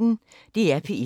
DR P1